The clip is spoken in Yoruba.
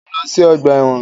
Mọ̀ ń lọ sí ọgbà ẹ̀wọ̀n.